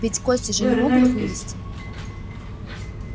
ведь кости же не могут вылезти